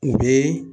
U bɛ